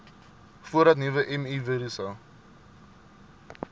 voordat nuwe mivirusse